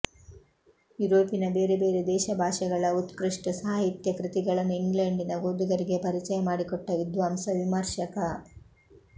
ಯುರೋಪಿನ ಬೇರೆ ಬೇರೆ ದೇಶಭಾಷೆಗಳ ಉತ್ಕ್ರಷ್ಟ ಸಾಹಿತ್ಯ ಕೃತಿಗಳನ್ನು ಇಂಗ್ಲೆಂಡಿನ ಓದುಗರಿಗೆ ಪರಿಚಯ ಮಾಡಿಕೊಟ್ಟ ವಿದ್ವಾಂಸ ವಿಮರ್ಶಕ